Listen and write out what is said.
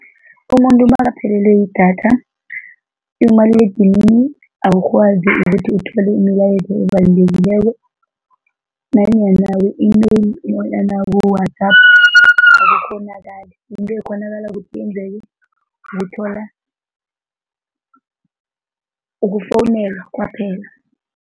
Umuntu nakaphelelwe yidatha, umaliledinini awukwazi ukuthi uthole imilayezo ebalulekileko nanyana ku-email nanyana ku-WhatsApp akukghonakali. Into ekghonakala ukuthi yenzeke, ukuthola, ukufowunelwa kwaphela.